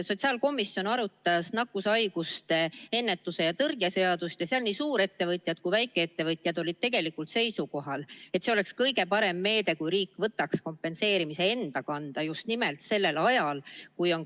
Sotsiaalkomisjon arutas nakkushaiguste ennetamise ja tõrje seadust ning nii suurettevõtjad kui ka väikeettevõtjad olid tegelikult seisukohal, et kõige parem meede oleks see, kui riik võtaks kompenseerimise enda kanda just nimelt sellel ajal.